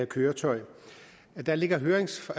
køretøj der ligger høringssvar